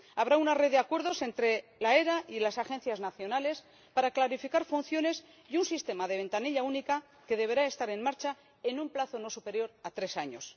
Habrá una red de acuerdos entre la AFE y las agencias nacionales para clarificar funciones y un sistema de ventanilla única que deberá estar en marcha en un plazo no superior a tres años.